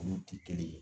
Olu ti kelen ye